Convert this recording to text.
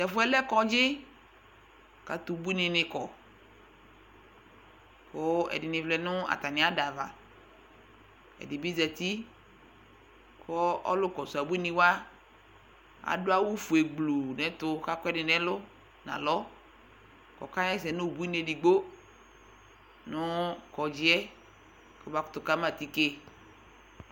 t'ɛfu yɛ lɛ kɔdzi k'atɛ ubuini ni kɔ kò ɛdini vlɛ no atami ada ava ɛdi bi zati kò ɔlò kɔsu abuini wa adu awu fue gblu n'ɛtu k'akɔ ɛdi n'ɛlu n'alɔ k'ɔka ɣa ɛsɛ no ubuini edigbo no kɔdzi yɛ k'ɔba kutò kama atike